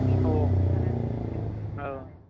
हो. हो.